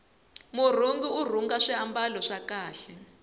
murhungi urhunga swimbalo swa kahle